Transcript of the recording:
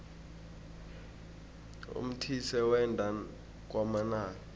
umthise wenda kwamanala